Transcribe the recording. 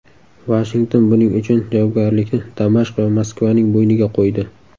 Vashington buning uchun javobgarlikni Damashq va Moskvaning bo‘yniga qo‘ydi.